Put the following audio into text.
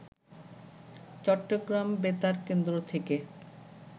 চট্টগ্রাম বেতার কেন্দ্র থেকে